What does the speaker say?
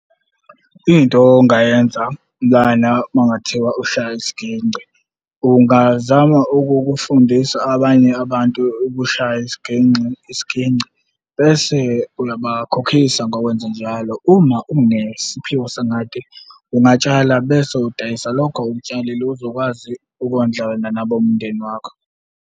Into ongayenza lana uma kungathiwa ushaya isiginci, ungazama ukukufundisa abanye abantu ukushaya isiginxi isiginci, bese uyabakhokhisa ngokwenze njalo. Uma unesiphiwo , ungatshala bese udayisa lokho okutshalile uzokwazi ukondla wena nabomndeni wakho.